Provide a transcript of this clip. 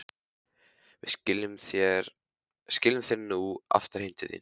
Við skilum þér nú aftur heim til þín.